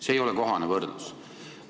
See ei ole kohane võrdlus.